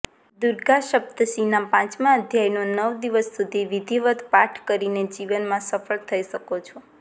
દુર્ગા શપ્તશીના પાંચમા અધ્યાયનો નવ દિવસ સુધી વિધિવત કાઠ કરીને જીવનમાં સફળ થઈ શકો છો